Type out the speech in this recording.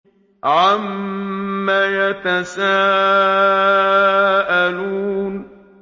عَمَّ يَتَسَاءَلُونَ